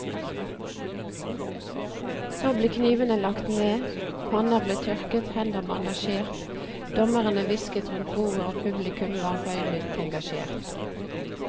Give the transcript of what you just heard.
Så ble knivene lagt ned, panner ble tørket, hender bandasjert, dommerne hvisket rundt bordet og publikum var høylytt engasjert.